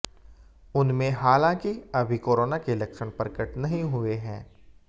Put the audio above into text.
उनमें हालांकि अभी कोराना के लक्षण प्रकट नहीं हुए हैं